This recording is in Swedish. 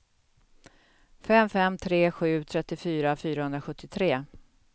fem fem tre sju trettiofyra fyrahundrasjuttiotre